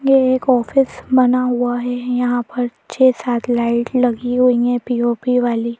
ये एक ऑफिस बना हुआ है यहां पर छह सात लाइट लगी हुई है पीओपी वाली।